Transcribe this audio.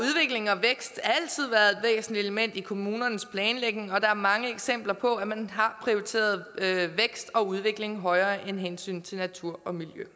og vækst altid været væsentlige elementer i kommunernes planlægning og der er mange eksempler på at man har prioriteret vækst og udvikling højere end hensynet til natur og miljø